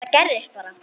Þetta gerðist bara?!